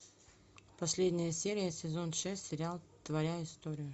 последняя серия сезон шесть сериал твоя история